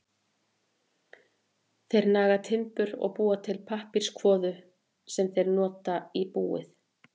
Þeir naga timbur og búa til pappírskvoðu sem þeir nota í búið.